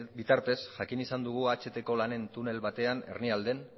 bitartez jakin izan dugu ahtko lanen tunel batean hernialden